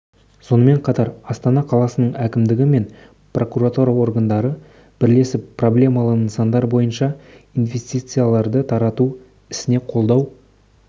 сонымен қатар астана қаласының әкімдігі мен прокуратура органдары бірлесіп проблемалы нысандар бойынша инвестицияларды тарту ісіне қолдау